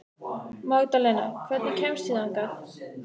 Magdalena, hvernig kemst ég þangað?